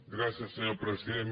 gràcies senyor president